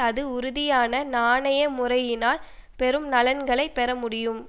அது உறுதியான நாணய முறையினால் பெரும் நலன்களை பெற முடியும்